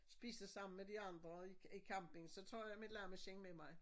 Spise sammen med de andre i i camping så tager jeg mit lammeskind med mig